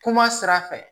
Kuma sira fɛ